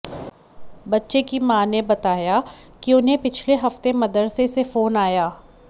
बच्चे की मां ने बताया कि उन्हें पिछले हफ्ते मदरसे से फोन आया